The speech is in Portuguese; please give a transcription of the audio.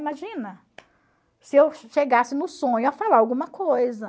Imagina se eu chegasse no sonho a falar alguma coisa.